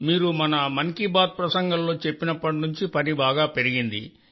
మీరు మన మన్ కీ బాత్ ప్రసంగంలో చెప్పినప్పటి నుండి పని చాలా పెరిగింది సార్